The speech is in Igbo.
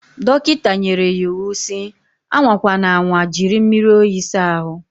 Dọkịta nyere ya iwu si, anwa kwana anwa jiri mmiri oyi sa ahu.